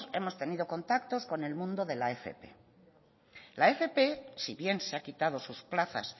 hemos tenido contacto con el mundo de la fp la fp si bien se ha quitado sus plazas